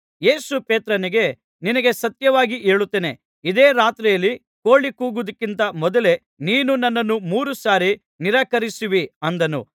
ಯೇಸು ಪೇತ್ರನಿಗೆ ನಿನಗೆ ಸತ್ಯವಾಗಿ ಹೇಳುತ್ತೇನೆ ಇದೇ ರಾತ್ರಿಯಲ್ಲಿ ಕೋಳಿ ಕೂಗುವುದಕ್ಕಿಂತ ಮೊದಲೇ ನೀನು ನನ್ನನ್ನು ಮೂರು ಸಾರಿ ನಿರಾಕರಿಸುವಿ ಅಂದನು